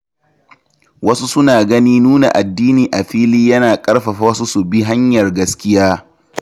Wasu suna ganin nuna addini a fili yana ƙarfafa wasu su bi hanyar gaskiya.